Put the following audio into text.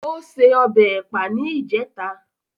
Ó se ọbẹ̀ Ẹ̀pà ní ìjẹta